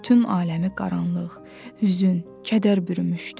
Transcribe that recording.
Bütün aləmi qaranlıq, hüzn, kədər bürümüşdü.